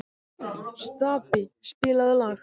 Stapi, spilaðu lag.